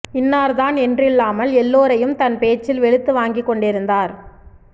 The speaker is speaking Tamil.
இன்னார்தான் என்றில்லாமல் எல்லோரையும் தன் பேச்சில் வெளுத்து வாங்கிக் கொண்டிருந்தார்